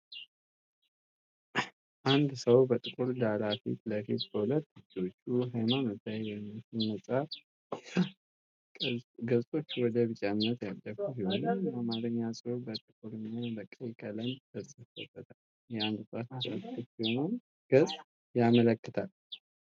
አንድ ሰው በጥቁር ዳራ ፊት ለፊት በሁለት እጆቹ ሃይማኖታዊ የሚመስል መጽሐፍ ይዟል። ገፆቹ ወደ ቢጫነት ያደፉ ሲሆን የአማርኛ ጽሑፍ በጥቁር እና በቀይ ቀለም ተጽፎበታል። የአንድ ጣት ጫፍ ክፍት የሆነውን ገጽ ያመለክታል።